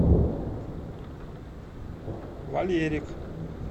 валерик